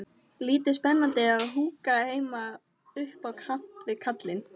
Lítið spennandi að húka heima upp á kant við kallinn.